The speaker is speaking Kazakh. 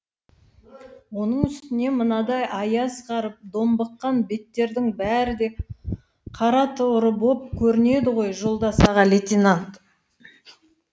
оның үстіне мынадай аяз қарып домбыққан беттердің бәрі де қара торы боп көрінеді ғой жолдас аға лейтенант